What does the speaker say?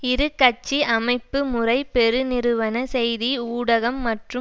இரு கட்சி அமைப்புமுறை பெருநிறுவன செய்தி ஊடகம் மற்றும்